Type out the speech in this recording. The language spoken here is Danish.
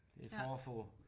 Det er for at få